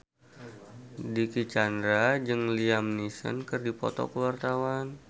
Dicky Chandra jeung Liam Neeson keur dipoto ku wartawan